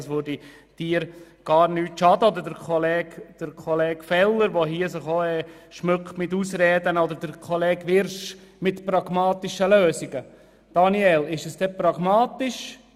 Das würde sicher nichts schaden, auch Kollege Feller nicht, der sich hier mit Ausreden schmückt oder Kollege Wyrsch, der von «pragmatischen» Lösungen spricht.